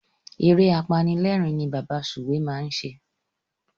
Eré apanilérìn ni Bàbá Sùwé máa ń ṣe.